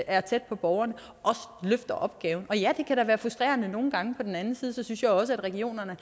er tæt på borgerne løfter opgaven og ja det kan da være frustrerende nogle gange men på den anden side synes jeg også at regionerne